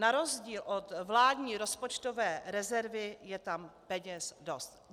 Na rozdíl od vládní rozpočtové rezervy je tam peněz dost.